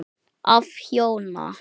Af hjóna